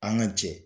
An ka jɛ